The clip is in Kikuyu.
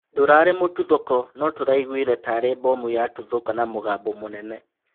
Ndũrarĩ mũtuthũko no tũraigwire tarĩ bomu yatuthũka na mũgambo mũnene